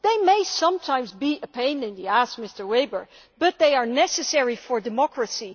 They may sometimes be a pain in the ass, Mr Weber, but they are necessary for democracy.